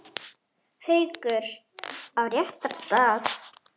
Haukur: Á réttan stað?